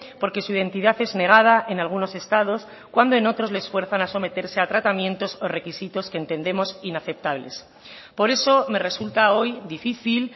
porque su identidad es negada en algunos estados cuando en otros les fuerzan a someterse a tratamientos o requisitos que entendemos inaceptables por eso me resulta hoy difícil